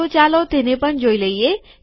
તો ચાલો તેને પણ જોઈ લઇએ